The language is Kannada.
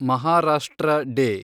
ಮಹಾರಾಷ್ಟ್ರ ಡೇ